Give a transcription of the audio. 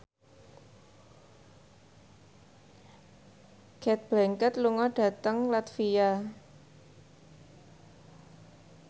Cate Blanchett lunga dhateng latvia